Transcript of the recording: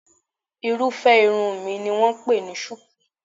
Irúfẹ́ irun mi ni wọ́n ń pè ní ṣùkú